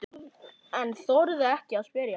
En þorði ekki að spyrja.